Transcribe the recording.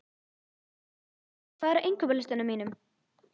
Mír, hvað er á innkaupalistanum mínum?